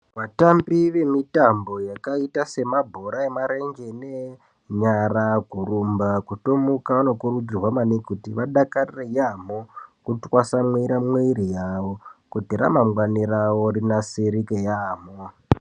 Vatambi vemitambo yakaita semabhora emarenje neenyara kurumba, kutomuka, vanokurudzirwa maningi kuti, vatwasamure mwiiri yavo, kuti ramangwani ravo rinasirike yaamho.